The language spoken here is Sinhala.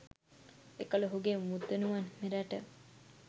එකල ඔහුගේ මුත්තණුවන් මෙරට